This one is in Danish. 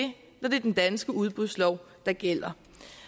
når det er den danske udbudslov der gælder